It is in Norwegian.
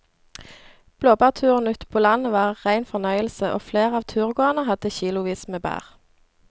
Blåbærturen ute på landet var en rein fornøyelse og flere av turgåerene hadde kilosvis med bær.